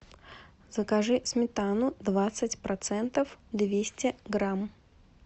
закажи сметану двадцать процентов двести грамм